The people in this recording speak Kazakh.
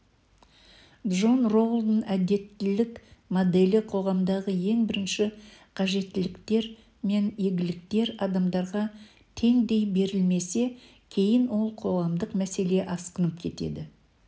джон роулдың әділеттілік моделі қоғамдағы ең бірінші қажеттіліктер мен игіліктер адамдарға теңдей берілмесе кейін ол қоғамдық мәселе асқынып кетеді